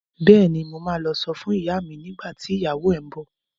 Bẹ́ẹ̀ni, mo ma lọ sọ fún ìyá mi nígbà tí ìyàwó ẹ ń bọ̀